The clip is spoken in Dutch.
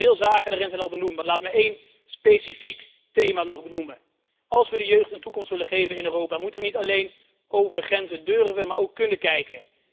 Veel zaken daarbij zijn al benoemd, maar laat me nog één specifiek thema vermelden als we de jeugd een toekomst willen geven in Europa, moeten we niet alleen over grenzen willen, maar ook kunnen kijken.